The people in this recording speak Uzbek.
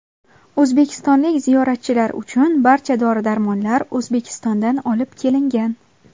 O‘zbekistonlik ziyoratchilar uchun barcha dori-darmonlar O‘zbekistondan olib kelingan.